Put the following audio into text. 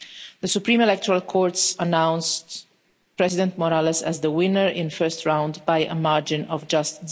The Supreme Electoral Courts announced President Morales as the winner in the first round by a margin of just